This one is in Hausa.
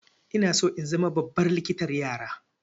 Ina so in zama babbar likitan yara.